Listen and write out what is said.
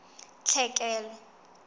tlhekelo